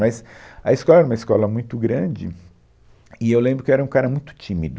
Mas a escola era uma escola muito grande e eu lembro que eu era um cara muito tímido.